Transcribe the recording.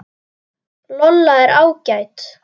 Lolla er ágæt.